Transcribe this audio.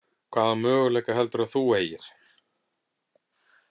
Hvaða möguleika heldurðu að þú eigir?